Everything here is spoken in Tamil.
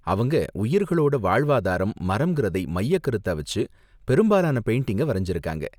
அவங்க உயிர்களோட வாழ்வாதாரம் மரங்குறதை மையக்கருத்தா வச்சு பெரும்பாலான பெயிண்டிங்க வரைஞ்சாங்க.